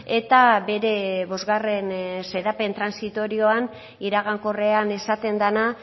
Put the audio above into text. eta bere bosgarren xedapen transitorioan iragankorrean esaten dena